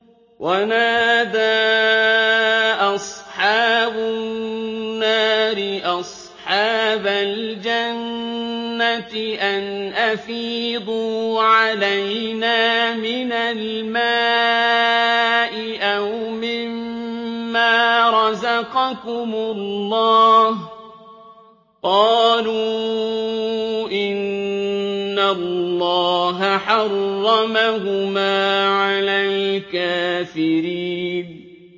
وَنَادَىٰ أَصْحَابُ النَّارِ أَصْحَابَ الْجَنَّةِ أَنْ أَفِيضُوا عَلَيْنَا مِنَ الْمَاءِ أَوْ مِمَّا رَزَقَكُمُ اللَّهُ ۚ قَالُوا إِنَّ اللَّهَ حَرَّمَهُمَا عَلَى الْكَافِرِينَ